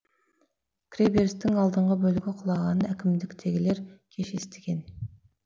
кіреберістің алдыңғы бөлігі құлағанын әкімдіктегілер кеш естіген